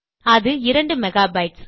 அது 2 மெகாபைட்ஸ்